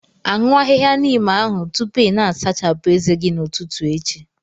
Aṅụ ahịhịa Neem ahụ tupu ị na-asachapụ ezé gị n'ụtụtụ echi!